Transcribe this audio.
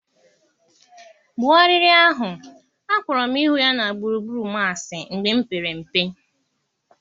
Gbuo arịrị ahụ, akpọrọ m ịhụ ya na gburugburu m asị mgbe m pere mpe.